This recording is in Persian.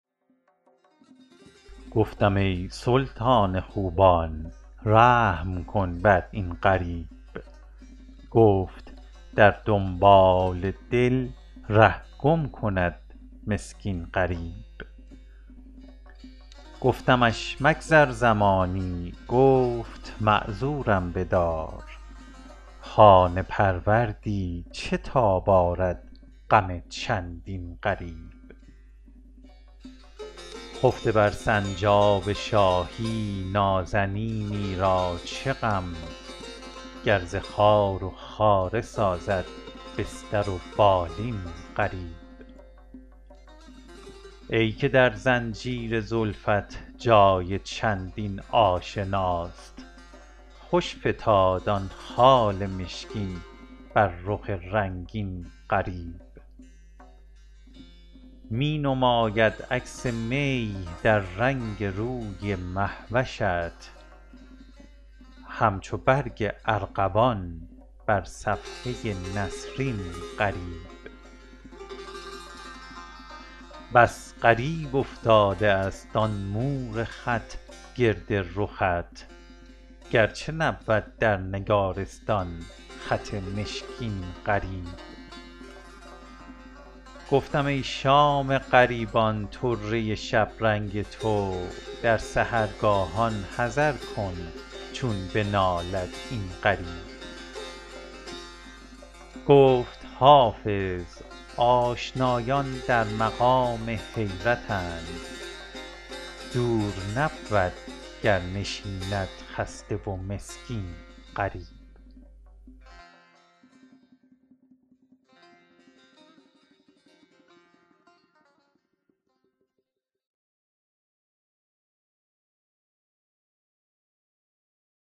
گفتم ای سلطان خوبان رحم کن بر این غریب گفت در دنبال دل ره گم کند مسکین غریب گفتمش مگذر زمانی گفت معذورم بدار خانه پروردی چه تاب آرد غم چندین غریب خفته بر سنجاب شاهی نازنینی را چه غم گر ز خار و خاره سازد بستر و بالین غریب ای که در زنجیر زلفت جای چندین آشناست خوش فتاد آن خال مشکین بر رخ رنگین غریب می نماید عکس می در رنگ روی مه وشت همچو برگ ارغوان بر صفحه نسرین غریب بس غریب افتاده است آن مور خط گرد رخت گرچه نبود در نگارستان خط مشکین غریب گفتم ای شام غریبان طره شبرنگ تو در سحرگاهان حذر کن چون بنالد این غریب گفت حافظ آشنایان در مقام حیرتند دور نبود گر نشیند خسته و مسکین غریب